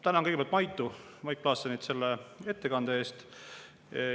Tänan kõigepealt Mait Klaassenit selle ettekande eest.